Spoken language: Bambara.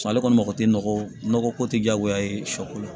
Ale kɔni mako tɛ nɔgɔ ko tɛ diyagoya ye sɔ ko la